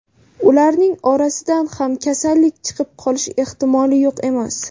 Ularning orasidan ham kasallik chiqib qolishi ehtimoli yo‘q emas.